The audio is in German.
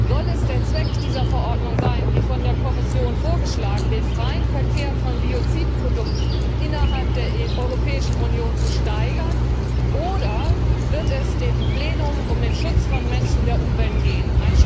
Soll es der Zweck dieser Verordnung sein, wie von der Kommission vorgeschlagen, den freien Verkehr von Biozidprodukten innerhalb der Europäischen Union zu steigern, oder wird es dem Plenum um den Schutz von Menschen und Umwelt gehen?